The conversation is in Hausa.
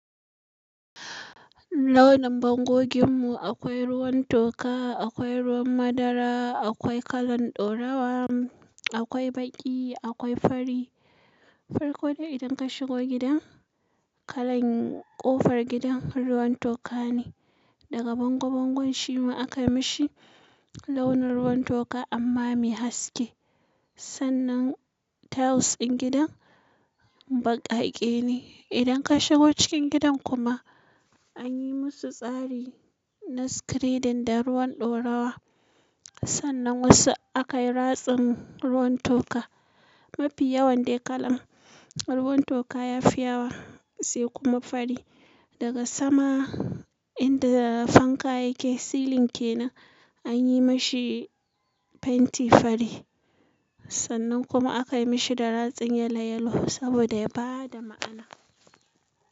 Launin bangogin mu akwai ruwan toka, akwai ruwan madara, akwai kalan ɗaurawa, akwai baƙi, akwai fari. Farko dai idan ka shigo gida, kalan ƙofar gidan ruwan toka ne. Daga bangon bangon shi ma aka mishi launin ruwan toka amma mai haske. Sannan tiles ɗin gidan baƙaƙe ne. Idan ka shigo cikin gidan kuma anyi musu tsari na screeding da ruwan ɗaurawa. Sannan wasu akayi ratsin ruwan toka. Mafi yawan dai kalan ruwan toka yafi yawa sai kuma fari. Daga sama inda fanka yake, silin ke nan anyi mashi fenti fari. Sannan kuma aka mashi da ratsin yalo yalo saboda ya bada ma'ana.